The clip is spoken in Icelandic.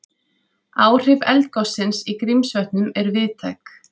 Áhrif eldgossins í Grímsvötnum eru víðtæk